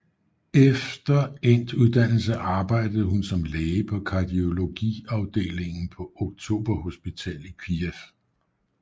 Efter endt uddannelse arbejdede hun som læge på kardiologiafdelingen på Oktober Hospital i Kyiv